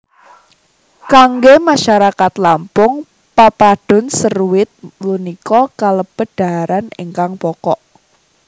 Kanggé masarakat Lampung Pepadun seruit punika kalebet dhaharan ingkang pokok